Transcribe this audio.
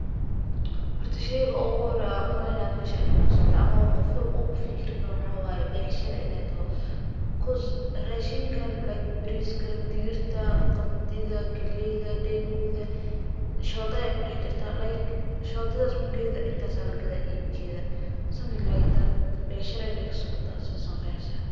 Horta sheyga ugu horeeyo aan umaleynayo meeshan inuu kasocdo ama qof walbo uu kufikiri karo waxaa waye becshira inaay toho,[cause]raashinka[like] bariiska, digirta, qamadiida, galeyda, deenguuda, shooda ayeey kudax jirtaa, shodadaas mugeeda intaas ayaa lagadaaya iibkeeda,[something like that] becshira inaay kasocoto, saas ayaan qiyaasa.